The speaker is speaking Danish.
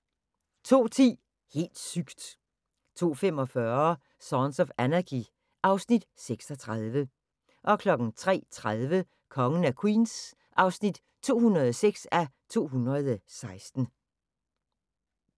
02:10: Helt sygt! 02:45: Sons of Anarchy (Afs. 36) 03:30: Kongen af Queens (206:216)